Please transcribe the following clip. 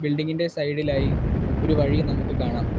Building ഇന്റെ side ഇലായി ഒരു വഴിയും നമുക്ക് കാണാം.